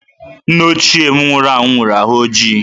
Nna ochie m nwụrụ anwụ nwere dị ojii.